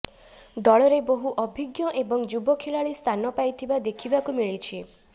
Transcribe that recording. ଦଳରେ ବହୁ ଅଭିଜ୍ଞ ଏବଂ ଯୁବ ଖେଳାଳି ସ୍ଥାନ ପାଇଥିବା ଦେଖିବାକୁ ମିଳିଛି